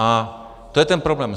A to je ten problém.